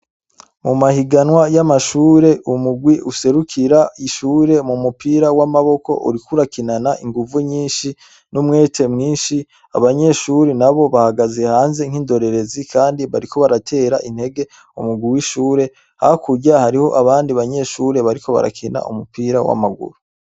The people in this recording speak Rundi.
Mu mahiganwa y'amashuri umurwi userukira ishuri mu mupira w'amaboko uriko urakinana inguvu nyishi n'umwete mwishi abanyeshuri nabo bahagaze hanze nk'indorerezi kandi bariko baratera intege umurwi w'ishuri hakurya hariho abandi banyeshuri bariko bariko barakina umupira w'amaguru.